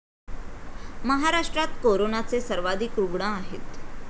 महाराष्ट्रात करोनाचे सर्वाधिक रुग्ण आहेत.